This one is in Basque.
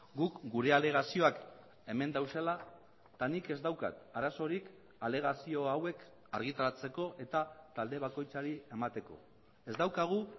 guk gure alegazioak hemen daudela eta nik ez daukat arazorik alegazio hauek argitaratzeko eta talde bakoitzari emateko ez daukagu